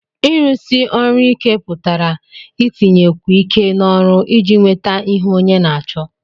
Ịrụsi ọrụ ike pụtara itinyekwu iké n'ọrụ iji nweta ihe Onye na-acho